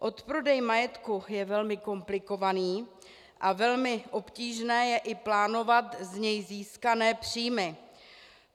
Odprodej majetku je velmi komplikovaný a velmi obtížné je i plánovat z něj získané příjmy.